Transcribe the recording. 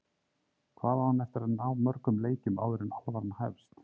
Hvað á hann eftir að ná mörgum leikjum áður en alvaran hefst?